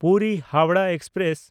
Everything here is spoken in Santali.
ᱯᱩᱨᱤ–ᱦᱟᱣᱲᱟᱦ ᱮᱠᱥᱯᱨᱮᱥ